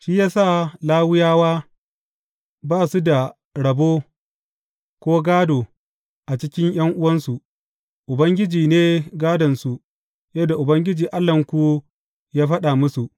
Shi ya sa Lawiyawa ba su da rabo, ko gādo a cikin ’yan’uwansu; Ubangiji ne gādonsu yadda Ubangiji Allahnku ya faɗa musu.